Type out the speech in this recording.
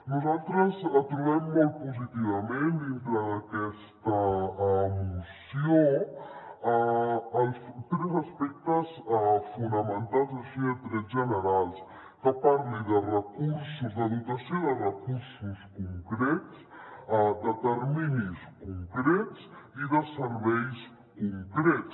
nosaltres trobem molt positivament dintre d’aquesta moció els tres aspectes fonamentals així a trets generals que parli de dotació de recursos concrets de terminis concrets i de serveis concrets